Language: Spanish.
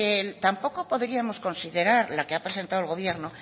tampoco podríamos considerar la que ha presentado el gobierno